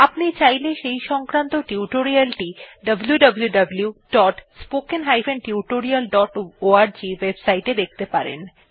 আপনি চাইলে সেই সংক্রান্ত টিউটোরিয়াল টি wwwspoken tutorialorg ওএবসাইট এ দেখতে পারেন